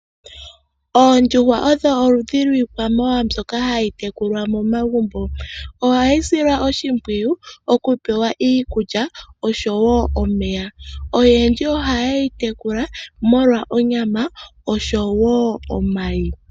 Oondjuhwa odho oludhi lwiikwamawawa mbyoka hayi tekulwa momagumbo. Ohayi silwa oshimpwiyu oku pewa iikulya oshowo omeya. Oyendji ohaye yi tekula molwa onyama oshowo omayi.